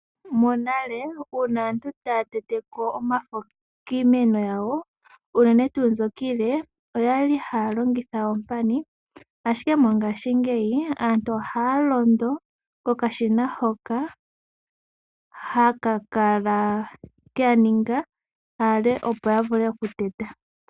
Monale uuna aantu taya tete ko omafo kiimeno yawo unene tuu mbyoka iile oyali haya longitha oompani. Ashike mongashingeyi aantu ohaya londo kokashina hoka haka kala keya ninga aale opo ya vule okuteta.